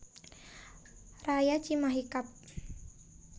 Raya Cimahi Kab